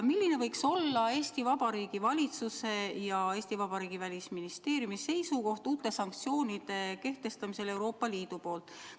Milline võiks olla Eesti Vabariigi valitsuse ja Eesti Vabariigi Välisministeeriumi seisukoht uute sanktsioonide kehtestamisel Euroopa Liidu poolt?